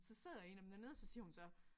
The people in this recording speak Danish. Så sidder en af dem dernede og så siger hun så